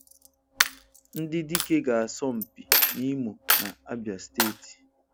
Ndị dike ga-asọ mpi n'Imo na Abia steeti